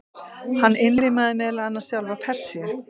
Hann innlimaði meðal annars sjálfa Persíu.